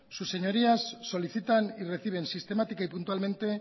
sus señorías solicitan y reciben sistemática y puntualmente